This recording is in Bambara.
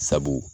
Sabu